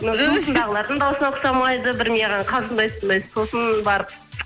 жұмысындағылардың дауысына ұқсамайды бір маған қалжындатындай сосын барып